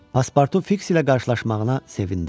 Paspartu Fiks ilə qarşılaşmağına sevindi.